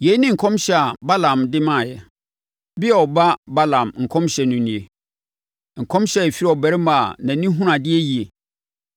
Yei ne nkɔmhyɛ a Balaam de maeɛ: “Beor ba Balaam nkɔmhyɛ no nie; nkɔmhyɛ a ɛfiri ɔbarima a nʼani hunu adeɛ yie,